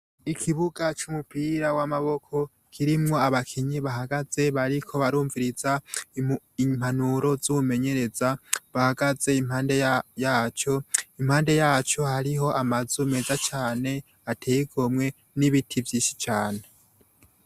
Ikibuga c'umupira w'amaboko kirimwo abakinyi bahagaze bariko barumviriza impanuro z'umumenyereza, bahagaze impande yaco. Impande yaco hariho amazu meza ateye igomwe n'ibiti vyinshi cane.